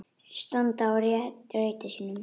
Standa á rétti sínum?